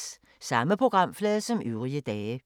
Samme programflade som øvrige dage